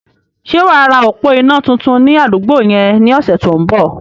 Sé wàá ra òpó iná tuntun ní àdúgbò yẹn ní ọ̀sẹ̀ tó ń bọ̀?